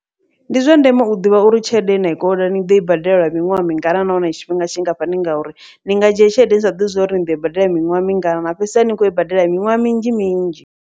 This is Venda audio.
Ndi zwa ndeme u ḓivha uri tshelede yena i konḓa ni ḓoi badela lwa miṅwaha mingana, nahone tshifhinga tshingafhani ngauri ni nga dzhia tshelede ni sa ḓivhi zwauri ni ḓoi badela miṅwaha mingana, na fhedzisela ni kho i badela miṅwaha minzhi minzhi.